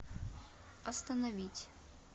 остановить